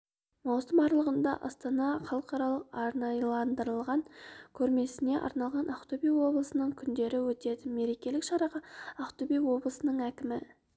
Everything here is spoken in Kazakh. маусым аралығында астанада халықаралық арнайыландырылған көрмесіне арналған ақтөбе облысының күндері өтеді мерекелік шараға ақтөбе облысының әкімі